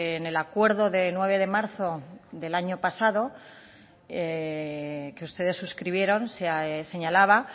en el acuerdo de nueve de marzo del año pasado que ustedes suscribieron señalaba